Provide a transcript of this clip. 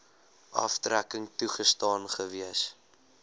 aftrekking toegestaan gewees